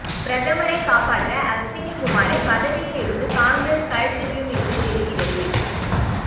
பிரதமரைக் காப்பாற்ற அஸ்வினி குமாரை பதவியில் இருந்து காங்கிரஸ் கழற்றிவிடும் என்று தெரிகிறது